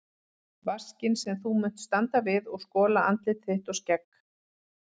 Vaskinn sem þú munt standa við og skola andlit þitt og skegg.